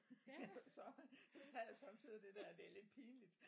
Så tager jeg sommetider det der det lidt pinligt